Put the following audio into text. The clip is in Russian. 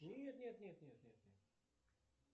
нет нет нет нет нет нет нет